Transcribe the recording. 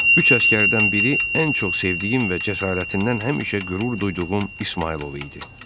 Üç əsgərdən biri ən çox sevdiyim və cəsarətindən həmişə qürur duyduğum İsmayılov idi.